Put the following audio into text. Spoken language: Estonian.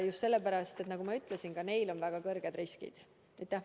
Just sellepärast, nagu ma ütlesin, et ka selle vanuserühma risk on väga kõrge.